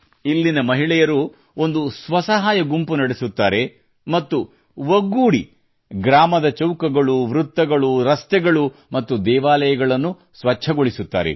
ಇಲ್ಲಿನ ಮಹಿಳೆಯರು ಒಂದು ಸ್ವ ಸಹಾಯ ಗುಂಪು ನಡೆಸುತ್ತಾರೆ ಮತ್ತು ಒಗ್ಗೂಡಿ ಗ್ರಾಮದ ಚೌಕಗಳು ವೃತ್ತಗಳು ರಸ್ತೆಗಳು ಮತ್ತು ದೇವಾಲಯಗಳನ್ನು ಸ್ವಚ್ಛಗೊಳಿಸುತ್ತಾರೆ